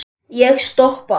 Ég stoppa.